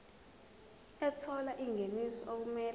ethola ingeniso okumele